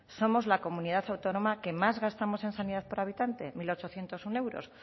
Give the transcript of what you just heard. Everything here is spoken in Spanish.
somos la comunidad autónoma que más gastamos en sanidad por habitante mil ochocientos uno euros